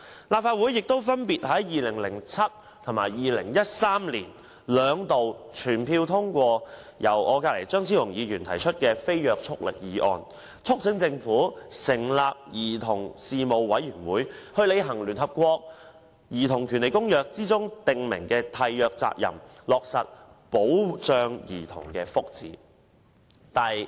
立法會亦分別在2007年及2013年兩度全票通過由張超雄議員提出的無約束力議案，促請政府成立兒童事務委員會，履行《公約》訂明的締約責任，落實保障兒童福祉。